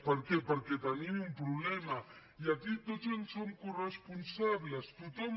per què perquè tenim un problema i aquí tots en som coresponsables tothom